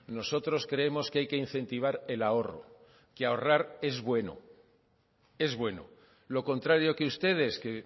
nosotros creemos que hay que incentivar el ahorro que ahorrar es bueno es bueno lo contrario que ustedes que